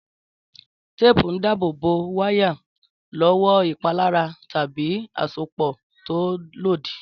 Téèpù ń dábò bó wáyà lówó ìpalára tàbí àsopò tó lòdì